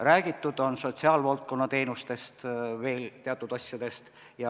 Räägitud on sotsiaalvaldkonna teenustest, veel teatud asjadest.